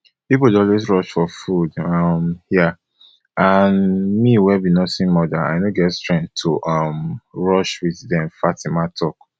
pipo dey always rush for food um hia and me wey be nursing mother i no get strength to um rush wit dem fatima tok